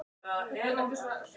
Mörk vinna leiki.